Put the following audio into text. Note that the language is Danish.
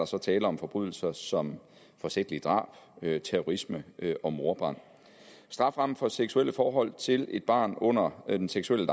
så tale om forbrydelser som forsætligt drab terrorisme og mordbrand strafferammen for seksuelt forhold til et barn under den seksuelle